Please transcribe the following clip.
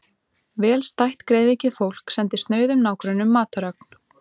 Vel stætt greiðvikið fólk sendi snauðum nágrönnum matarögn.